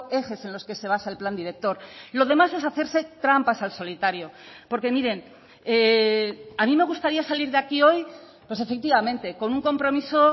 ejes en los que se basa el plan director lo demás es hacerse trampas al solitario porque miren a mí me gustaría salir de aquí hoy pues efectivamente con un compromiso